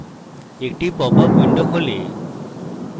একটি pop up window খোলে